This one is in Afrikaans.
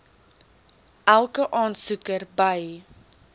elke aansoeker by